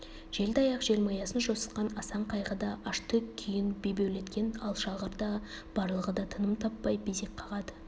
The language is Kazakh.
желді аяқ желмаясын жосытқан асан қайғы да ашты күйін бебеулеткен алшағыр да барлығы да тыным таппай безек қағады